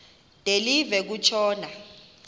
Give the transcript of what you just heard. de live kutshona